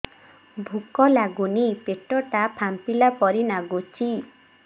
ଭୁକ ଲାଗୁନି ପେଟ ଟା ଫାମ୍ପିଲା ପରି ନାଗୁଚି